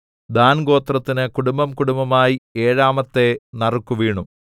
than ഗോത്രത്തിന് കുടുംബംകുടുംബമായി ഏഴാമത്തെ നറുക്കു വീണു